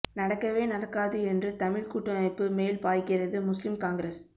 நடக்கவே நடக்காது என்று தமிழ் கூட்டமைப்பு மேல் பாய்கிறது முஸ்லிம் காங்கிரஸ்